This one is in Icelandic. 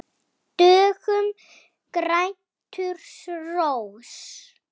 Döggum grætur rós.